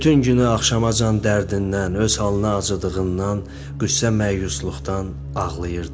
Bütün günü axşamacan dərdindən, öz halına acıdığından, qüssə-məyusluqdan ağlayırdı.